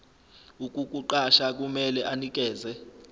ukukuqasha kumele anikeze